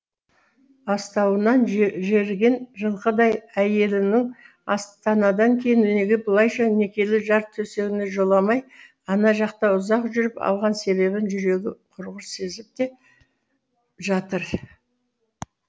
астауынан жеріген жылқыдай әйеліңнің астанадан кейін неге бұлайша некелі жар төсегіне жоламай ана жақта ұзақ жүріп алған себебін жүрегі құрғыр сезіп те жатыр